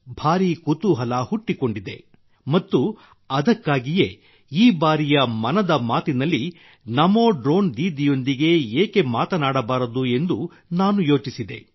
ಭಾರೀ ಕುತೂಹಲ ಹುಟ್ಟಿಕೊಂಡಿದೆ ಮತ್ತು ಅದಕ್ಕಾಗಿಯೇ ಈ ಬಾರಿಯ ಮನದ ಮಾತಿನಲ್ಲಿ ನಮೋ ಡ್ರೋನ್ ದೀದಿಯೊಂದಿಗೆ ಏಕೆ ಮಾತನಾಡಬಾರದು ಎಂದು ನಾನು ಯೋಚಿಸಿದೆ